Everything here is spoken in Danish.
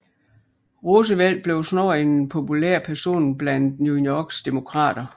Roosevelt blev snart en populær person blandt New Yorks Demokrater